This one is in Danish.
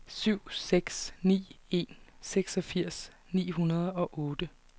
syv seks ni en seksogfirs ni hundrede og otte